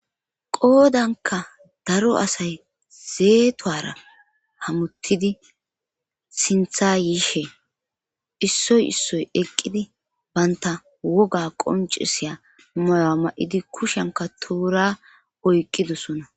qoodanka daro asay zeetowara hamuttidi sintha yiishe issoy issoy eqqidi banta woga qoncisiya moya ma7idi kushenka toora oyqqidosona